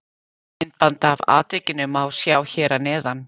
Myndband af atvikinu má sjá hér að neðan.